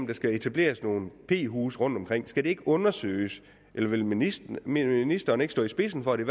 der skal etableres nogle p huse rundtomkring skal det så ikke undersøges vil ministeren ministeren ikke stå i spidsen for at det